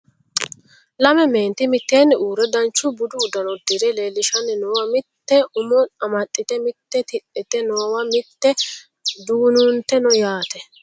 Lame meenti mitteenni uurre dancha budu uddano uddire leellishanni noowa mitte umo amaxxite mitte tidhite noowa mitte dugunuunte no yaate